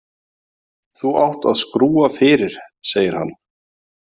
Þú átt að skrúfa fyrir, segir hann.